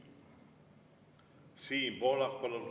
Siim Pohlak, palun!